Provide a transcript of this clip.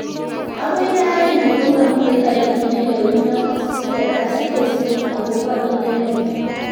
Akoi raani komamitei tarikit nelewenot sekekas kesi akobo inendet